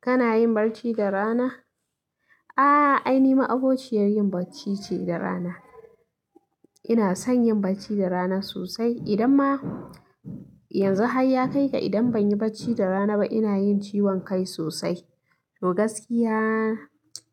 Kana yin barci da rana? Ah, ai ni ma'abociyar yin barci ce da rana. Ina son yin barci da rana sosai. Idan ma yanzu hay ya kai da idan ban yi barci da rana ba, ina yin ciwon kai sosai. To gaskiya,